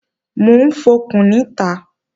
Mò ń fọkùn níta